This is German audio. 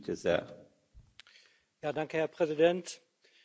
Herr Präsident, liebe Kolleginnen und Kollegen!